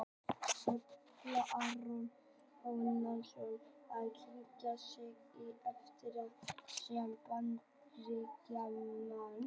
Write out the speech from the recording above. Ætlar Aron Jóhannsson að kynna sig hér eftir fyrir umheiminum sem Bandaríkjamann?